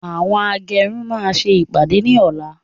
Àwọn agẹrun máa ṣe ìpàdé ní ọ̀la